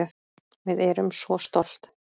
Við erum svo stolt